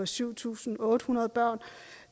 syv tusind otte hundrede børn